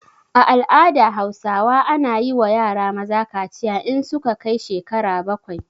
A al'ada hausawa ana yiwa yara maza kaciya in su ka kai shekara bakwai